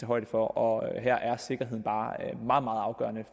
højde for og her er sikkerheden bare meget meget afgørende